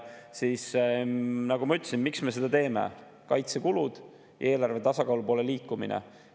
Nagu ma ütlesin, siis, miks me seda teeme, on: kaitsekulud, eelarve tasakaalu poole liikumine.